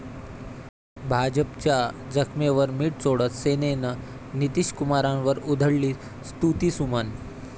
भाजपच्या जखमेवर मिठ चोळत सेनेनं नितीशकुमारांवर उधळली स्तुतीसुमनं